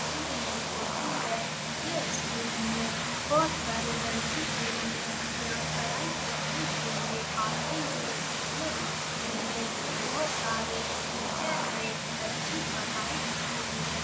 school में होती है यह स्कूल में बहुत सारे लड़के एवं लड़कियाँ पढ़ाई करने के लिए आते है यह स्कूल में बहुत सारे टीचर है अच्छी पढ़ाई इस स्कूल में --